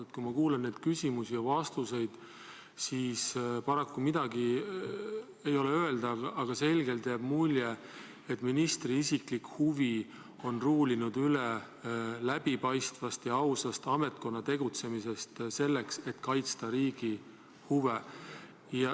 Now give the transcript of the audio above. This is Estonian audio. Aga kui ma kuulan neid küsimusi ja vastuseid, siis paraku midagi ei ole öelda, kuid selgelt jääb mulje, et ministri isiklik huvi on ruulinud üle läbipaistvast ja ausast ametkonna tegutsemisest, mis aitaks kaitsta riigi huve.